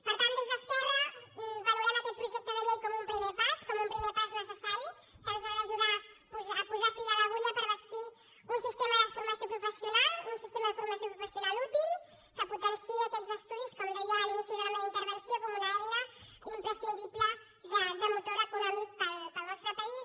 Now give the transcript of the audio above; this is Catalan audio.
per tant des d’esquerra valorem aquest projecte de llei com un primer pas com un primer pas necessari que ens ha d’ajudar a posar fil a l’agulla per bastir un sistema de formació professional un sistema de formació professional útil que potenciï aquests estudis com deia a l’inici de la meva intervenció com una eina imprescindible de motor econòmic per al nostre país